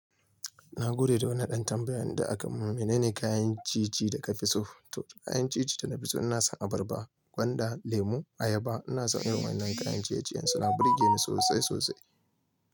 Na gode da wannan ɗan tambayan da aka mun mene ne kayan ciye-ciye da ka fi so. To kayan ciye-ciye da na fi so ina son abarba, gwanda, lemu, ayaba. Ina son irin nan kayan ciye-ciye suna burge ni sosai sosai.